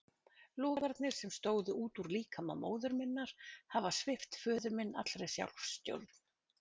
Logarnir, sem stóðu út úr líkama móður minnar, hafa svipt föður minn allri sjálfsstjórn.